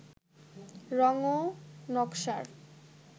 রং ও নকশার